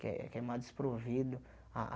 Que é que é mais desprovido a a.